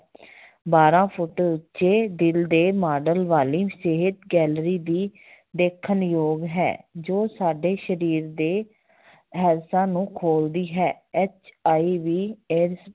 ਬਾਰਾਂ ਫੁੱਟ ਉੱਚੇ ਦਿਲ ਦੇ ਮਾਡਲ ਵਾਲੀ ਸਿਹਤ gallery ਵੀ ਦੇਖਣਯੋਗ ਹੈ ਜੋ ਸਾਡੇ ਸਰੀਰ ਦੇ ਨੂੰ ਖੋਲਦੀ ਹੈ HIVAIDS